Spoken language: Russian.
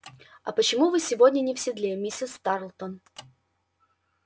а почему вы сегодня не в седле миссис тарлтон